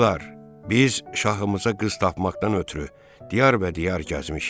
Qızlar, biz şahımıza qız tapmaqdan ötrü diyar-və-diyar gəzmişik.